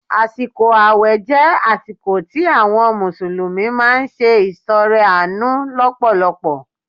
Àsìkò ààwẹ̀ jẹ́ àsìkò tí àwọn mùsùlùmí máa ń ṣe ìtọrẹ àánú lọ́pọ̀lọpọ̀